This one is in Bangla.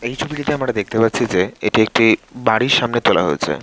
এই ছবিটিতে আমরা দেখতে পাচ্ছি যে এটি একটি বাড়ির সামনে তোলা হয়েছে।